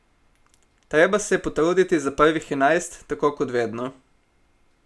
Treba se je potruditi za prvih enajst, tako kot vedno.